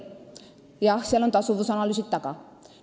Jah, seal on tasuvusanalüüsid taga.